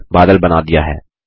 आपने बादल बना दिया है160